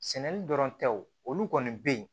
Sɛnɛli dɔrɔn tɛ wo olu kɔni bɛ yen